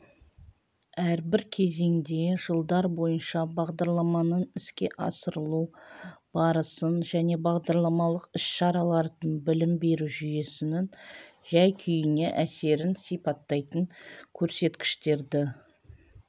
әрбір кезеңде жылдар бойынша бағдарламаның іске асырылу барысын және бағдарламалық іс-шаралардың білім беру жүйесінің жай-күйіне әсерін сипаттайтын көрсеткіштерді